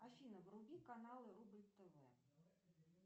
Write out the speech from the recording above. афина вруби канал рубль тв